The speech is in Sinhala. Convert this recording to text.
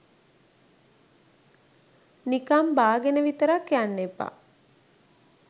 නිකන් බාගෙන විතරක් යන්න එපා.